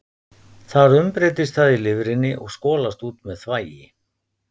Þar umbreytist það í lifrinni og skolast út með þvagi.